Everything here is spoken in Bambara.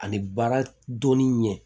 Ani baara dɔnni ɲɛ